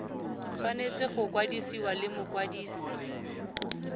tshwanetse go kwadisiwa le mokwadise